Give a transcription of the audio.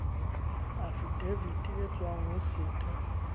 afidavite e tswang ho setho